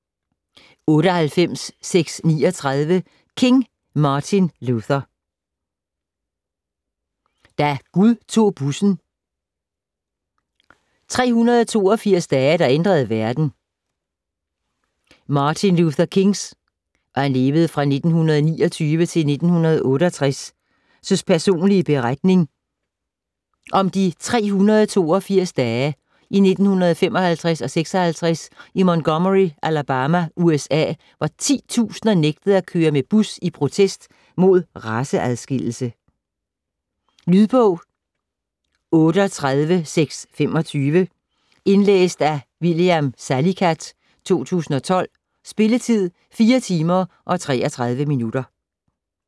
98.639 King, Martin Luther: Da Gud tog bussen: 382 dage der ændrede verden Martin Luther Kings (1929-1968) personlige beretning om de 382 dage i 1955-56 i Montgomery, Alabama, USA, hvor titusinder nægtede at køre med bus i protest med raceadskillelse. Lydbog 38625 Indlæst af William Salicath, 2012. Spilletid: 4 timer, 33 minutter.